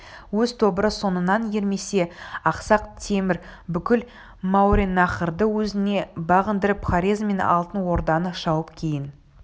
өз тобыры соңынан ермесе ақсақ темір бүкіл мауреннахрды өзіне бағындырып хорезм мен алтын орданы шауып кейін